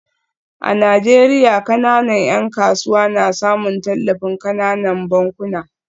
A Najeriya, kananan ‘yan kasuwa na samun tallafin kananan bankuna